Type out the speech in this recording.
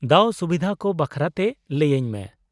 -ᱫᱟᱣᱼᱥᱩᱵᱤᱫᱷᱟ ᱠᱚ ᱵᱟᱠᱷᱨᱟᱛᱮ ᱞᱟᱹᱭᱟᱹᱧ ᱢᱮ ᱾